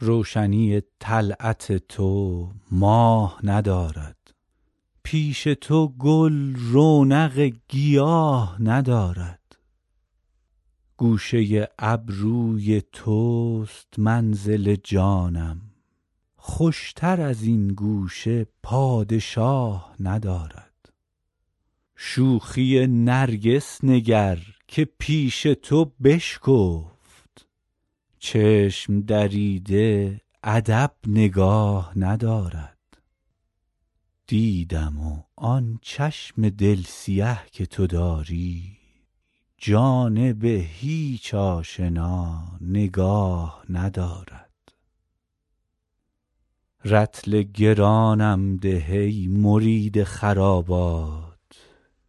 روشنی طلعت تو ماه ندارد پیش تو گل رونق گیاه ندارد گوشه ابروی توست منزل جانم خوشتر از این گوشه پادشاه ندارد تا چه کند با رخ تو دود دل من آینه دانی که تاب آه ندارد شوخی نرگس نگر که پیش تو بشکفت چشم دریده ادب نگاه ندارد دیدم و آن چشم دل سیه که تو داری جانب هیچ آشنا نگاه ندارد رطل گرانم ده ای مرید خرابات